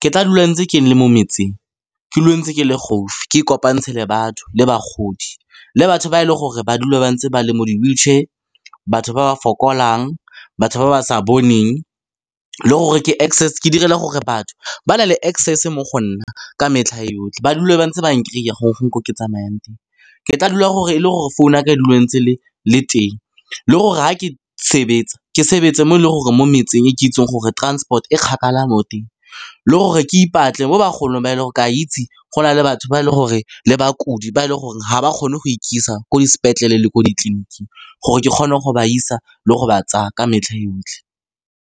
Ke tla dula ntse ke le mo metseng, ke dule ntse ke le gaufi, ke kopantshe le batho le bagodi, le batho ba e leng gore ba dule ba ntse ba le mo di-wheelchair, batho ba fokolang, batho ba ba sa boneng, le gore ke direla gore batho ba na le access-e mo go nna ka metlha yotlhe, ba dule ba ntse ba n-kry-a gongwe ko ke tsamayang teng. Ke tla dula e le gore phone-u ya ka e dula ntse le le teng, le gore ga ke sebetsa, ke sebetse mo e leng gore mo metseng e ke itseng gore transport e kgakala mo teng, le gore ke ipatle mo bagolong ba e leng gore ka itse go na le batho ba e leng gore le bakudi ba e leng gore ga ba kgone go ikisa ko dis'petlele le ko ditleliniking, gore ke kgone go ba isa le go ba tsaya ka metlha yotlhe.